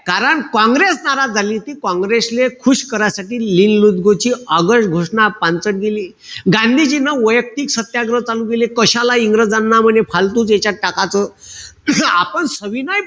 कारण काँग्रेस नाराज झाली. काँग्रेसले खुश करासाठी ची आगस्ट घोषणा पांचट गेली. गांधिजीन वैयक्तिक सत्याग्रह चालू केले. कशाला इंग्रजांना म्हणे फालतूक यांच्यात टाकाच. आपण सविनय,